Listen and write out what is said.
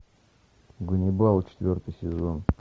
ганнибал четвертый сезон